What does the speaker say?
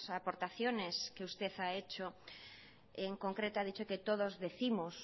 aportaciones que usted ha hecho en concreto ha dicho que todos décimos